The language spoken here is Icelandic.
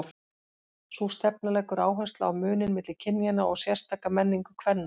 Sú stefna leggur áherslu á muninn milli kynjanna og sérstaka menningu kvenna.